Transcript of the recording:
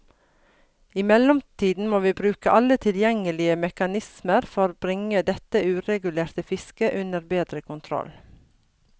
I mellomtiden må vi bruke alle tilgjengelige mekanismer for bringe dette uregulerte fisket under bedre kontroll.